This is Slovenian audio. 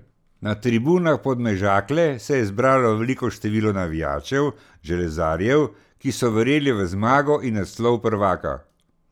Na tribunah Podmežakle se je zbralo veliko število navijačev železarjev, ki so verjeli v zmago in naslov prvaka.